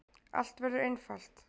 Allt verður einfalt.